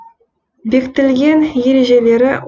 бекітілген ережелері